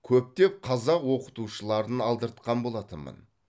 көптеп қазақ оқытушыларын алдыртқан болатынмын